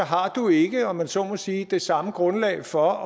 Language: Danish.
ikke har om man så må sige det samme grundlag for